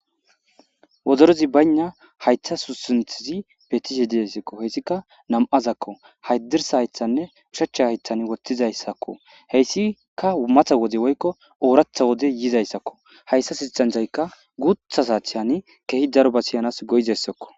wozorezi bayna haytha susinthizi petishe diassakko heyssika nam7azakko haydirsa haythanne ushacha haythan wottizayssakko heyssi ka matha wode woykko ooratha wode yizayssakko hayssa sistanthaykka guutha saathiyan kehi daroba siyanas go7izassakko